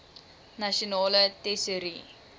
nasionale tesourie